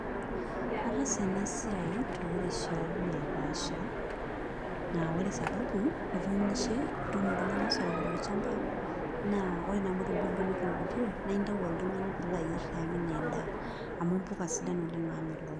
Ataasa ena siai toorishat napaasha naa ore sababu ituunishe, ituuno oltung'ani isoroko tolchamba naa ore naa amu etubulutua netookutuo naa aintayu oltung'ani piilo ayierr tiang' enaa endaa amu mpuka sidan oleng' naamelook.